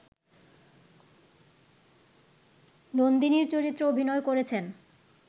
নন্দিনীর চরিত্রে অভিনয় করেছেন